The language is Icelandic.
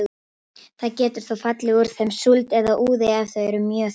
Það getur þó fallið úr þeim súld eða úði ef þau eru mjög þykk.